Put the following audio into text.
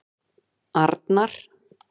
Arnar